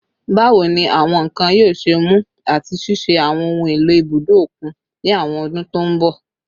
Bawo ni awọn nkan yoo ṣe mu ati ṣiṣẹ ni awọn ohun elo ibudo okun ni awọn ọdun to nbọ?